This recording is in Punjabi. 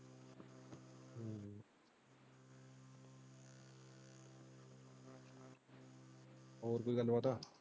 ਹੋਰ ਕਿਵੇਂ .